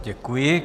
Děkuji.